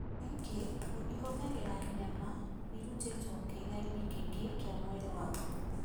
Njĩra ĩngĩ ĩhũthagĩra nyama irutĩtwo kĩĩga-inĩ Kĩngĩ kĩa mwĩrĩ waku.